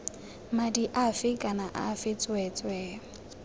madi afe kana afe tsweetswee